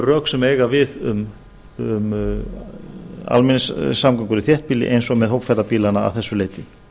rök sem eiga við um almenningssamgöngur i þéttbýli og með hópferðabílana að þessu leyti